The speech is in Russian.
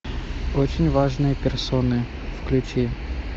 очень важные персоны включи